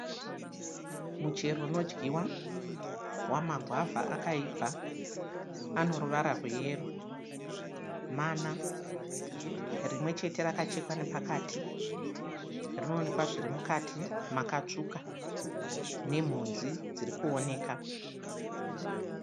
Muchero unodyiwa wama gwavha akaibva ano ruvara rweyero mana, rimwe chete rakachekwa nepakati rinoonekwa zviri mukati makatsvuka nemhodzi dziri kuoneka.